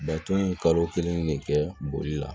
Baton ye kalo kelen de kɛ boli la